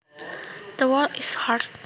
The wall is hard